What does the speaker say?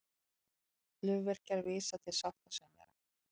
Flugvirkjar vísa til sáttasemjara